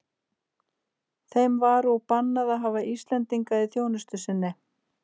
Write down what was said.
Þeim var og bannað að hafa Íslendinga í þjónustu sinni.